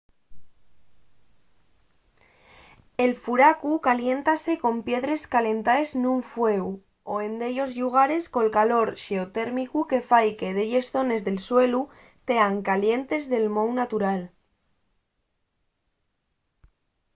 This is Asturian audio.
el furacu caliéntase con piedres calentaes nun fueu o en dellos llugares con calor xeotérmicu que fai que delles zones del suelu tean calientes de mou natural